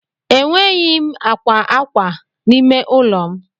Enweghị m akwa akwa n'ime ụlọ m.